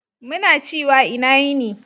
Muna ciwa ina yini.